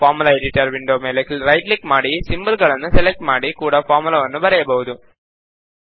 ನಾವು formula editor window ಮೇಲೆ right click ಮಾಡಿ ಸಿಂಬಲ್ ಗಳನ್ನು ಸೆಲೆಕ್ಟ್ ಮಾಡಿ ಕೂಡಾ ಫಾರ್ಮುಲಾವನ್ನು ಬರೆಯಬಹುದು